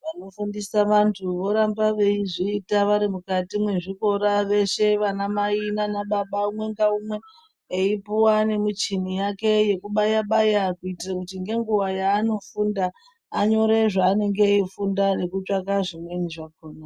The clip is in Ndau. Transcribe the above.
Vanofundisa vantu voramba veizviita varimukati mwezvikora veshe vanamai nanababa umwe naumwe eipuwa nemichini yake yekubayabaya kuitire kuti nenguva yaanofunda anyore zvaanenge eifunda nekutsvake zvimweni zvakona.